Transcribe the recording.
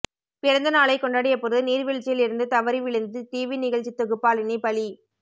பிறந்தநாளை கொண்டாடியபோது நீர்வீழ்ச்சியில் இருந்து தவறி விழுந்து டிவி நிகழ்ச்சி தொகுப்பாளினி பலி